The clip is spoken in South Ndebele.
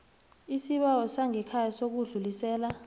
isibawo sangekhaya sokudlulisela